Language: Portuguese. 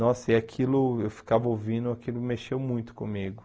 Nossa, e aquilo, eu ficava ouvindo, aquilo mexeu muito comigo.